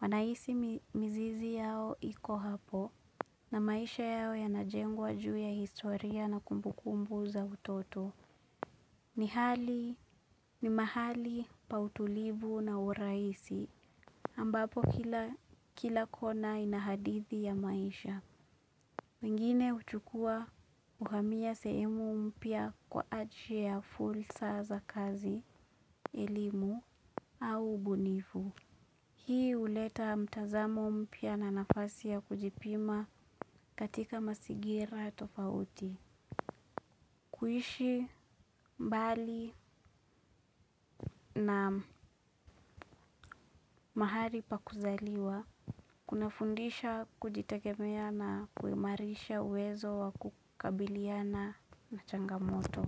Anahisi mizizi yao iko hapo na maisha yao yanajengwa juu ya historia na kumbukumbu za utoto. Ni mahali pa utulivu na urahisi ambapo kila kona ina hadithi ya maisha. Wengine huchukua uhamia sehemu mpya kwa ajili ya fursa za kazi, elimu au ubunifu. Hii huleta mtazamo mpya na nafasi ya kujipima katika mazingira tofauti. Kuishi mbali na mahali pa kuzaliwa. Kunafundisha kujitegemea na kuimarisha uwezo wa kukabiliana na changamoto.